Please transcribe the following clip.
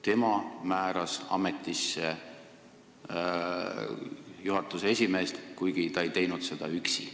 Tema määras ametisse juhatuse esimehe, kuigi ta ei teinud seda üksi.